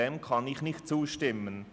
Dem kann ich nicht zustimmen.